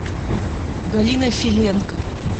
галина филенко